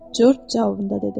Corc cavabında dedi: